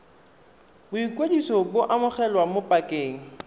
boikwadiso bo amogelwa mo pakeng